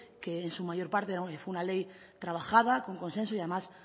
que en su mayor parte es una ley trabajada con consenso y además